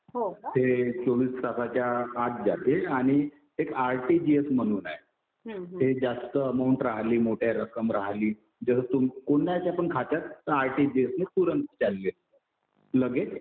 ते चोवीस तासाच्या आत जाते आणि एक आरटिजीएस म्हणून आहे. ते जास्त अमाऊंट राहिली, मोठी रक्कम राहिली. कुणाच्या पण खात्यात आरटिजीएस ने तुरंत कॅश जाते. लगेच